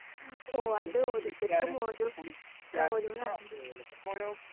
speaker 2 ഓ അതോ ഓരോരുത്തർക്കും ഓരോന്ന് ആണല്ലോ